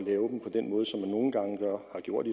har gjort